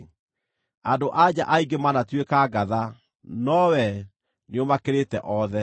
“Andũ-a-nja aingĩ manatuĩka ngatha, no wee nĩũmakĩrĩte othe.”